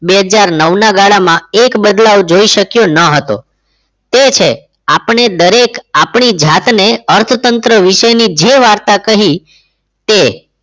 બે હજાર નવ ના ગાળામાં એક બદલાવ જોઈ શક્યો ન હતો તે છે આપણે દરેક આપણી જાતને અર્થતંત્ર વિશેની જે વાર્તા કહી તે